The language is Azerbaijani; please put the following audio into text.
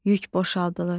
Yük boşaldılır.